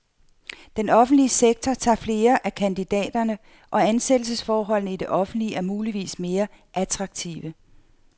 Den offentlige sektor tager flere af kandidaterne, og ansættelsesforholdene i det offentlige er muligvis mere attraktive.